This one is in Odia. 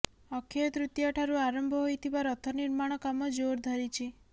ଅକ୍ଷୟ ତୃତୀୟା ଠାରୁ ଆରମ୍ଭ ହୋଇଥିବା ରଥ ନିର୍ମାଣ କାମ ଜୋର ଧରିଛି